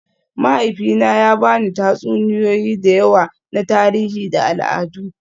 Mahaifina ya ba ni tatsuniyoyi da yawa na tarihi da al'adu